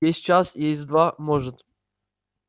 есть час есть два может